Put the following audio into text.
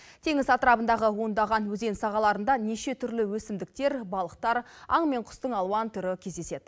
теңіз атырабындағы ондаған өзен сағаларында неше түрлі өсімдіктер балықтар аң мен құстың алуан түрі кездеседі